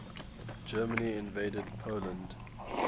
germany invaded poland